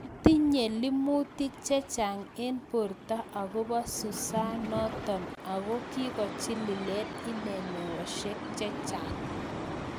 Tinyei limutik chechang eng portoo akopoo susaa notok Ako kikochilileen inee meosiek chechang